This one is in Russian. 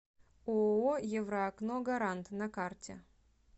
ооо евроокно гарант на карте